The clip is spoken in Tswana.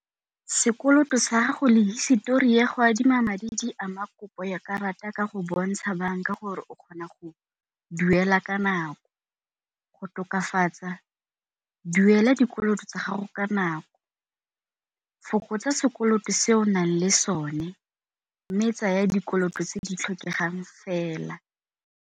Sekoloto sa gago le hisetori ya go adima madi di ama kopo ya karata ka go bontsha banka gore o kgona go duela ka nako. Go tokafatsa duela dikoloto tsa gago ka nako, fokotsa sekoloto se o nang le sone mme tsaya dikoloto tse di tlhokegang fela.